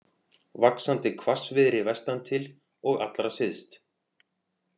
Vaxandi hvassviðri vestantil og allra syðst